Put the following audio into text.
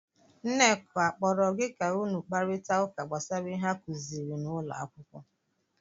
Nneka akpọọrọ gị ka ụnụ kparịta ụka gbasara ihe akụziri n'ụlọ akwụkwọ?